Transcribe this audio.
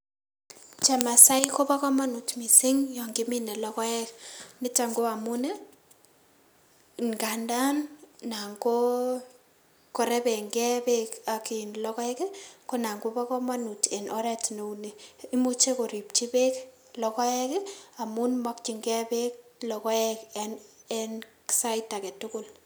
Chemasai kobo komonut missing yon kiminee logoek nito ko amun, ngandaan nangoo rebengee beek ak logoek nan kobokomonut en oret neu ni imuche koripchi beek logoek amun mokyinge beek logoek en sait aketugul.